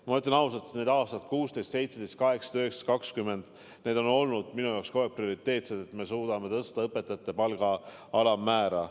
Ma ütlen ausalt, et aastatel 2016, 2017, 2018, 2019 ja 2020 on minu jaoks kogu aeg olnud prioriteetne see, et suudaksime tõsta õpetajate palga alammäära.